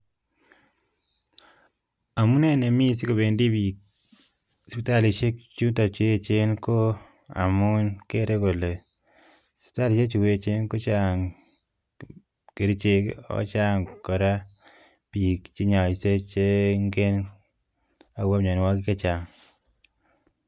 Amunee nemi sikopendi biik sipitalisiek chuton cheechen koo amun kere kole sipitalisiek chu echen kochang' kerichek ak kochang' kora bik che nyoishe chengen akobo mianwokik chechang'